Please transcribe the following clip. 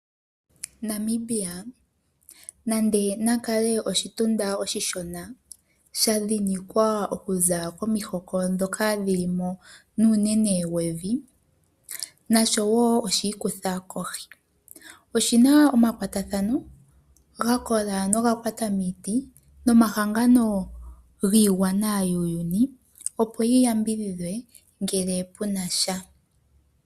Namibia nande nakale oshitunda oshi shona , sha dhinikwa okuzq komihoka ndhoka dhilimo unene nevi , Namibia nasho woo oshiikutha kohi. Oshina omakwatathano gakola ga kwata miiti , osho woo nomahangano giigwana yuuyuni opo yi yambidhidhe ngele punasha.